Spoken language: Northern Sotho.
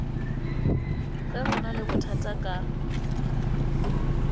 ge go na lebothata ka